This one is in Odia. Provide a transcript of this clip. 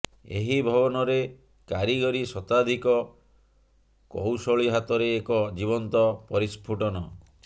ଏହି ଭବନରେ କାରିଗରୀ ଶତାଧିକ କଉଶଳୀ ହାତରେ ଏକ ଜୀବନ୍ତ ପରିସ୍ଫୁଟନ